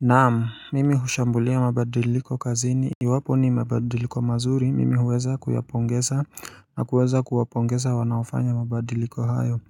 Naamu mimi hushambulia mabadiliko kazini Iwapo ni mabadiliko mazuri mimi huweza kuyapongeza na kuweza kuwapongeza wanaofanya mabadiliko hayo